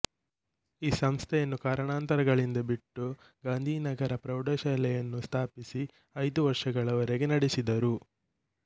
ಈ ಸಂಸ್ಥೆಯನ್ನು ಕಾರಣಾಂತರಗಳಿಂದ ಬಿಟ್ಟು ಗಾಂಧಿನಗರ ಪ್ರೌಢಶಾಲೆಯನ್ನು ಸ್ಥಾಪಿಸಿ ಐದು ವರ್ಷಗಳವರೆಗೆ ನಡೆಯಿಸಿದರು